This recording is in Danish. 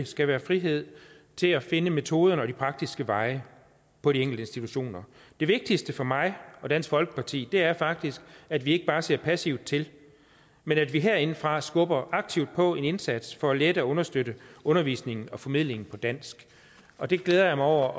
skal være frihed til at finde metoderne og de praktiske veje på de enkelte institutioner det vigtigste for mig og dansk folkeparti er faktisk at vi ikke bare ser passivt til men at vi herindefra skubber aktivt på i en indsats for at lette og understøtte undervisningen og formidlingen på dansk og det glæder jeg mig over